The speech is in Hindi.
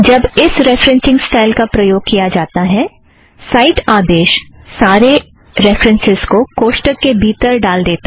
जब इस रेफ़रेन्ससिंग स्टाइल का प्रयोग किया जाता है साइट आदेश सारे रेफ़रन्सस् को कोष्ठक के भीतर डाल देता है